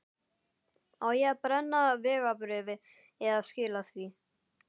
Á ég að brenna vegabréfið eða skila því?